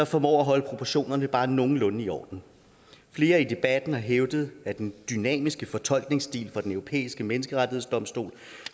formår at holde proportionerne bare nogenlunde i orden flere i debatten har hævdet at den dynamiske fortolkningsstil fra den europæiske menneskerettighedsdomstol